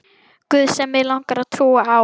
guð sem mig langar að trúa á.